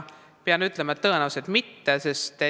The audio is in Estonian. Pean ütlema, et tõenäoliselt mitte.